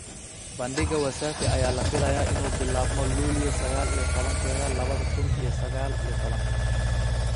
Bandhiga Wasafi ayaa la filayaa inuu bilaabmo Luulyo sagaal iyo tobaankeda laba kuun iyo sagaal iyo tobaan .